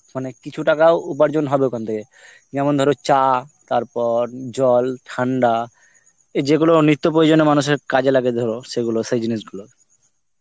মানে কিছু টাকাও উপার্জন হবে ওখান থেকে. যেমন ধরো চা, তারপর উম জল ঠান্ডা, এ যেগুলো তো প্রয়োজনে মানুষের কাজে লাগে ধরো, সেইগুলো, সেই জিনিসগুলো.